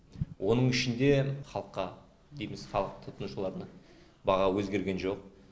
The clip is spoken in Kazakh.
оның ішінде халыққа дейміз халық тұтынушыларына баға өзгерген жоқ